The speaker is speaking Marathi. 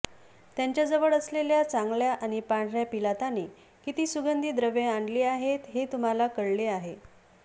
त्याच्याजवळ असलेल्या चांगल्या आणि पांढऱ्या पिलाताने किती सुगंधी द्रव्ये आणली आहेत हे तुम्हाला कळले आहे